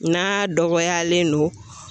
N'a dɔgɔyalen don